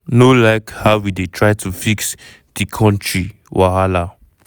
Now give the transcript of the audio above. no like how e dey try to fix di kontiri wahala.